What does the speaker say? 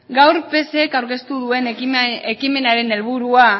gaur psek aurkeztu duen ekimenaren helburua